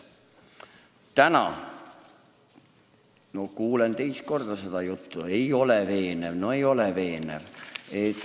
Täna ma kuulen seda juttu teist korda, aga see ei ole veenev – no ei ole veenev!